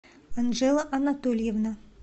анжела анатольевна